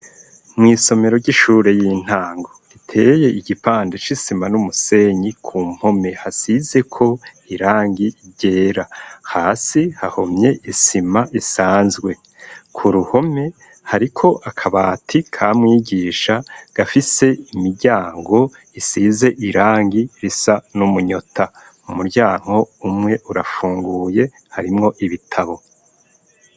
Mw'isomero ry'ishure y'intango iteye igipande c'isima n'umusenyi ku mpome hasizeko irangi ryera, hasi hahomye isima isanzwe, ku ruhome hariko akabati ka mwigisha gafise imiryango isize irangi risa n'umunyota, umuryango umwe urafunguye harimwo ibitabo.